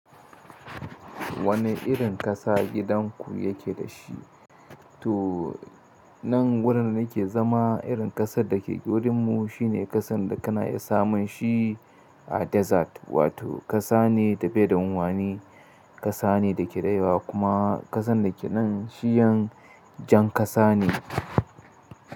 Wane irin ƙasa gidan ku yake da shi? To nan wurin da nake zama irin ƙasar da ke wurin mu shine ƙasan da kana iya samun shi a desert, wato ƙasa ne da bai da wani ƙasa ne da ke da yawa kuma ƙasan da ke nan shiyan jan ƙasa ne.